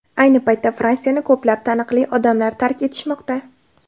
Ayni paytda Fransiyani ko‘plab taniqli odamlar tark etishmoqda.